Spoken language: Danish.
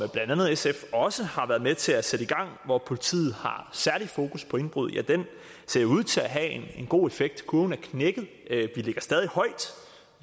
sf også har været med til at sætte i gang hvor politiet har særligt fokus på indbrud jo ser ud til at have en god effekt kurven er knækket vi ligger stadig højt